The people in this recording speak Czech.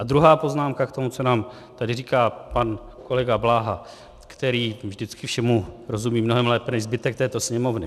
A druhá poznámka k tomu, co nám tady říká pan kolega Bláha, který vždycky všemu rozumí mnohem lépe než zbytek této Sněmovny.